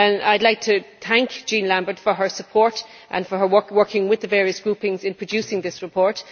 I would like to thank Jean Lambert for her support and for her work with the various groupings in producing this report.